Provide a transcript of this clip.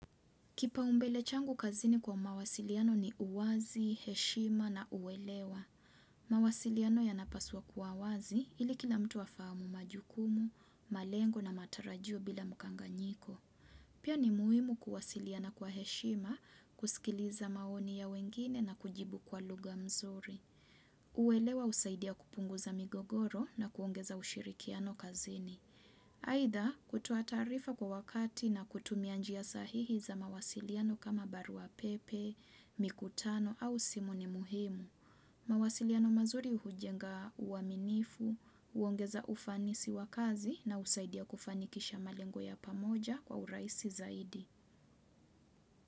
Kipaumbele changu kazini kwa mawasiliano ni uwazi, heshima na uwelewa. Mawasiliano yanapaswa kuwa wazi ili kila mtu hafamu majukumu, malengo na matarajio bila mkanganyiko. Pia ni muhimu kuwasiliana kwa heshima, kusikiliza maoni ya wengine na kujibu kwa lugha mzuri. Uelewa husaidia kupunguza migogoro na kuongeza ushirikiano kazini. Aidha kutoa taarifa kwa wakati na kutumia njia sahihi za mawasiliano kama barua pepe, mikutano au simu ni muhimu. Mawasiliano mazuri hujenga uaminifu, uongeza ufanisi wa kazi na usaidia kufanikisha malengo ya pamoja kwa uraisi zaidi.